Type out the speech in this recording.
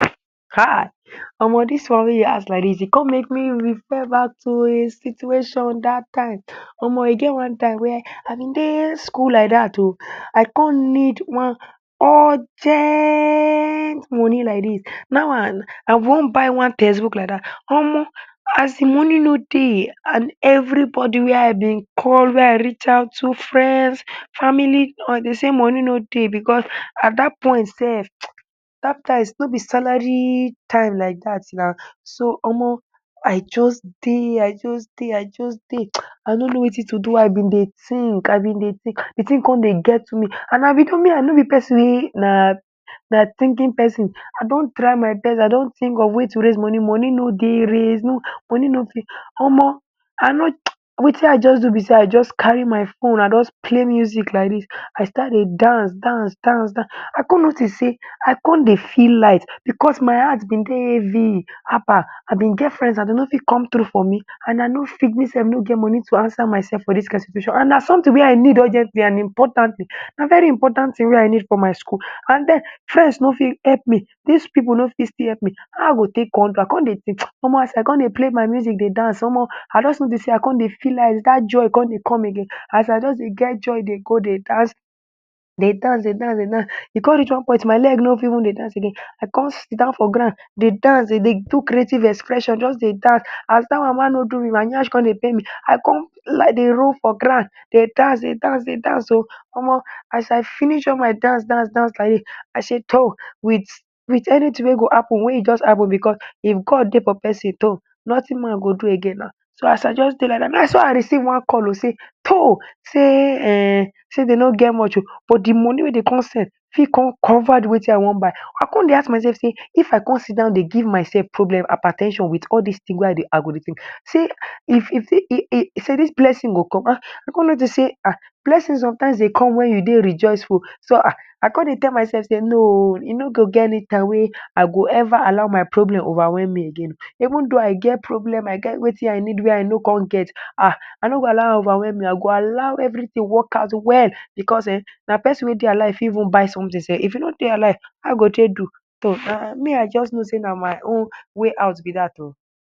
um Omo, dis one wey you ask like dis, e come make me refer back to a situation dat time. Omo, e get one time where I bin dey school like dat ooo, I come need one urgent money like dis, now, and I want buy one textbook like dat. Omo, as de money no dey, and everybody where I bin call, wey I reach out to friends, family, or dey sey money no dey because at dat point den, [um]dat time no be salary time like dat now. So omo, I just dey, I just dey, I just dey, um I no know wetin to do. Why I bin dey think, I bin dey think, de thing come dey get to me, and I be dey me I no be person wey na na thinking person. I don try my best, I don think of way to raise money, money no dey raise, no money no fit omo I no know um wetin I just do be sey I just carry my phone, I just play music like dis, I start dey dance dance dance dance. I come notice sey I come dey feel light because my heart bin dey heavy, haba. I bin get friends, and dey no fit come through for me, and I no fit me sef no get money to answer myself for dis kind situation. And na something wey I need urgently and important thing, na very important thing wey I need for my school. And den friends no fit help me, dis people no fit still help me. How I go take con do am? I come dey play my music, dey dance omo. I just notice sey I come dey feel light, dat joy come dey come again. As I just dey get joy, dey go dey dance dey dance dey dance dey dance. E come reach one point, my leg no fit even dey dance again. I come sit down for ground dey dance, dey dey do creative expression, just dey dance. As dat one ma no do me, my nyash come dey pain me, I come lie dey roll for ground dey dance dey dance dey dance ooo omo. As I finish all my dance dance dance like dis, I sey to myself sey with with anything wey go happen, make e just happen because if God dey for persin, nothing man go do again now. So as I just dey like dat now, naso I receive one call ooo sey um sey um sey dey no get much ooo, but de money wey dey come send fit come covered wetin I want buy. I come dey ask myself sey if I come sit down dey give myself problem, hyper ten sion with all dis thing where I dey, I go dey think sey if if sey dis blessing go come. Ah, I come notice sey ah, blessing sometimes dey come when you dey rejoiceful. So ah, I come dey tell myself sey no ooo, it no go get any time wey I go ever allow my problem overwhelm me again. Even though I get problem, I get wetin I need where I no come get ah, I no go allow overwhelm me. I go allow everything work out well because um na person wey dey alive. Even buy something self, if you no dey alive, how you go take do? me, I just know sey na my own way out be dat ooo.